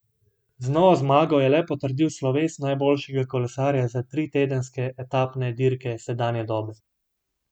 Z novo zmago je le potrdil sloves najboljšega kolesarja za tritedenske etapne dirke sedanje dobe.